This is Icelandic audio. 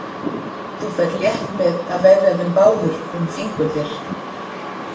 Þú ferð létt með að vefja þeim báðum um fingur þér.